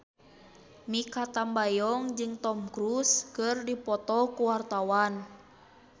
Mikha Tambayong jeung Tom Cruise keur dipoto ku wartawan